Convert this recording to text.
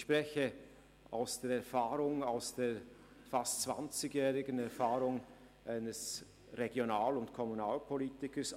Ich spreche aus der fast zwanzigjähriger Erfahrung eines Regional- und Kommunalpolitikers.